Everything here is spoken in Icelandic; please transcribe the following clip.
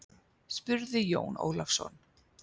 spurði Jón Ólafsson.